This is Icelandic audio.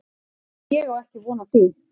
Ég á ekki von á því